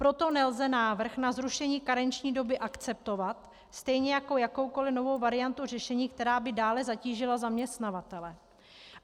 Proto nelze návrh na zrušení karenční doby akceptovat, stejně jako jakoukoli novou variantu řešení, která by dále zatížila zaměstnavatele.